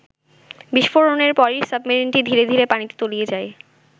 বিস্ফোরণের পরই সাবমেরিনটি ধীরে ধীরে পানিতে তলিয়ে যায়।